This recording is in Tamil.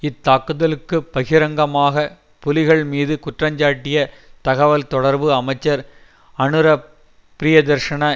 இத் தாக்குதலுக்கு பகிரங்கமாக புலிகள் மீது குற்றஞ்சாட்டிய தகவல்தொடர்பு அமைச்சர் அனுர பிரியதர்ஷன